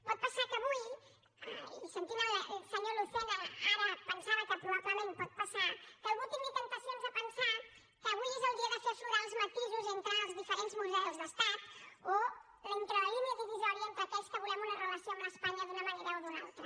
pot passar que avui i sentint el senyor lucena ara pensava que probablement pot passar algú tingui temptacions de pensar que avui és el dia de fer aflorar els matisos entre els diferents models d’estat o entre la línia divisòria entre aquells que volem una relació amb espanya d’una manera o d’una altra